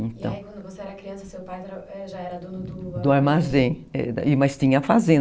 E aí, quando você era criança, seu pai já já era dono do armazém? do armazém, mas tinha a fazenda